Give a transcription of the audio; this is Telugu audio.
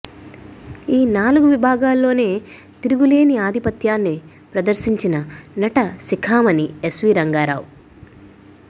ఈ నాలుగు విభాగాల్లోనే తిరుగులేని ఆధిపత్యాన్ని ప్రదర్శించిన నట శిఖామణి ఎస్వీ రంగారావు